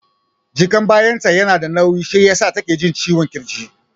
Jakan bayan ta yana da nauyi shi yasa take jin ciwon ƙirji